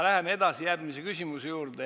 Läheme edasi järgmise küsimuse juurde.